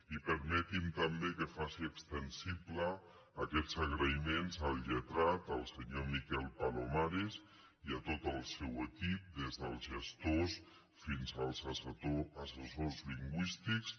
i permetin me també que faci extensibles aquests agraïments al lletrat el senyor miquel palomares i a tot el seu equip des dels gestors fins als assessors lingüístics